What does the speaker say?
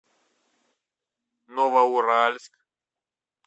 новоуральск